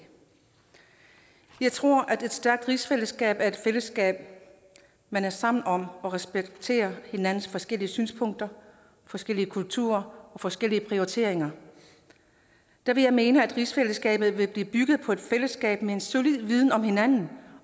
jeg tror at et stærkt rigsfællesskab er et fællesskab man er sammen om hvor man respekterer hinandens forskellige synspunkter forskellige kulturer og forskellige prioriteringer der vil jeg mene at rigsfællesskabet vil blive bygget på et fællesskab med en solid viden om hinanden